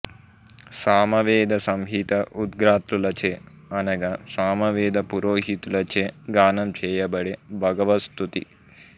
సామవేద సంహిత ఉద్గాత్రులచే అనగా సామవేద పురోహితులచే గానం చేయబడే భగవస్తుతి